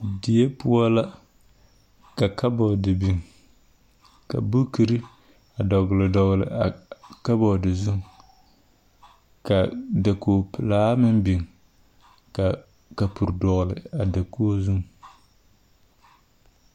Die poɔ la ka kabɔɔr biŋ, ka bukiri dɔgle dɔgle a kabɔɔde zu, ka dakogi pelaa meŋ biŋ, ka a bukiri dɔgle a dakogi pelaa zu